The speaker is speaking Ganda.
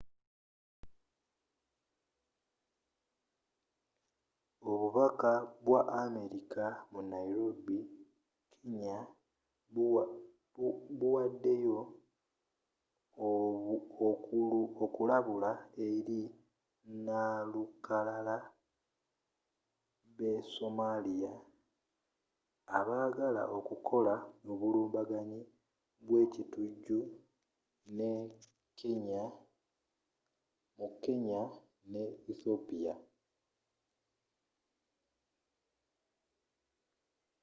obubaka bwa amerika mu nairobi kenya buwaddeyo okulabula eri nnalukalala b'e somalia” abaagala okukola obulumbaganyi bwe ekitujju mu kenya ne ethiopia